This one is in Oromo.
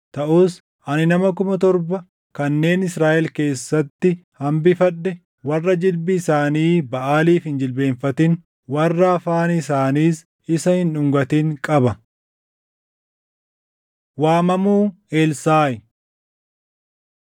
Taʼus ani nama kuma torba kanneen Israaʼel keessatti hambifadhe, warra jilbi isaanii Baʼaaliif hin jilbeenfatin, warra afaan isaaniis isa hin dhungatin qaba.” Waamamuu Elsaaʼi